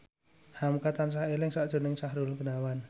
hamka tansah eling sakjroning Sahrul Gunawan